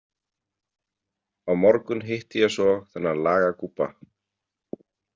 Á morgun hitti ég svo þennan lagagúbba.